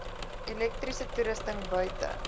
elektriese toerusting buite